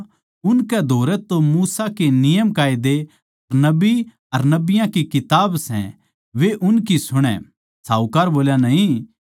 क्यूँके मेरे पाँच भाई सै वो उनकै स्याम्ही इन बात्तां की गवाही दे इसा ना हो के वे भी दुख की जगहां म्ह आवै